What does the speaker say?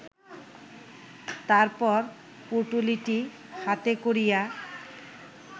তারপর পুটলিটি হাতে করিয়া